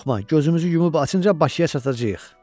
Qorxma, gözümüzü yumub açınca Bakıya çatacağıq.